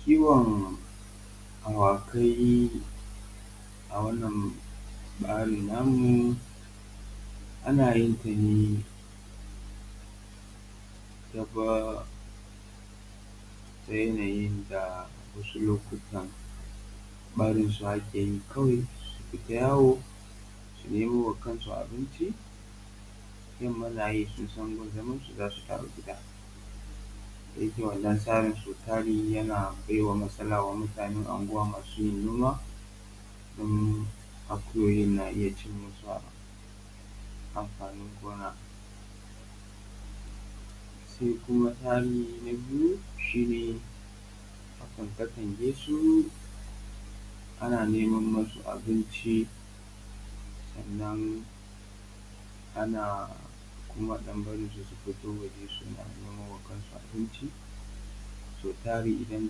Kiwon awakai a wannan tsarin namu ana yin ta ne ta yanayin da wasu lokutan barin su ake yi kawai su fita yawo su nemo wa kansu abinci, yamma na yi sun san gun zaman su za su dawo gida. E to wannan tsari sau tari yana baiwa matsala wa mutanen unguwa masu yin noma, akuyoyin na iya cin musu amfanin gona, sai kuma tsari na biyu shi ne a katange su ana neman musu abinci sannan ana kuma ɗan barinsu su fito waje ne suna neman ma kansu abinci. Sau tari idan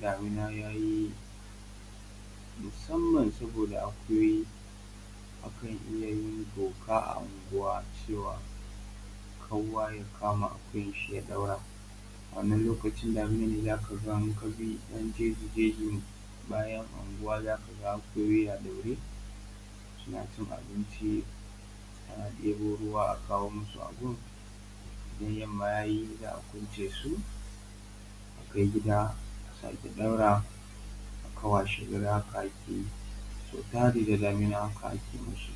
damuna yayi musamman saboda akuyoyi akan iya yin doka a unguwa cewa kowa ya kama akuyan shi ya daura. A wannan lokacin diminan ne za ka ga id aka bi ‘yan jefi jefi bayan unguwa za ka ga akuyoyi a ɗaure suna cin abinci ana ɗibo ruwa akawo musu a gun sai yamma yayi za a kwance su a kai gida a sake ɗaurawa haka washe gari haka ake yi sautari dai da damina haka ake musu.